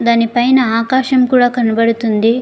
దాని పైన ఆకాశం కూడా కనపడుతుంది.